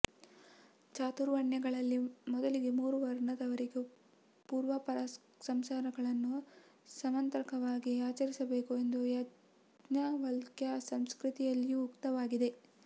ಚಾತುರ್ವಣ್ಯಗಳಲ್ಲಿ ಮೊದಲಿನ ಮೂರು ವರ್ಣದವರಿಗೂ ಪೂರ್ವಾಪರಸಂಸ್ಕಾರಗಳನ್ನು ಸಮಂತ್ರಕವಾಗಿಯೇ ಆಚರಿಸಬೇಕು ಎಂದು ಯಾಜ್ಣ್ಞವಲ್ಕ್ಯಸ್ಮೃತಿಯಲ್ಲಿಯೂ ಉಕ್ತವಾಗಿದೆ